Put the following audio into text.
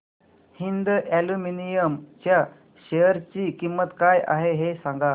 Hind aluminium च्या share ची किंमत काय आहे हे सांगा